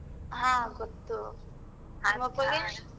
ಹ ಗೊತ್ತು. ನಿಮ್ಮಪ್ಪಂಗೆ?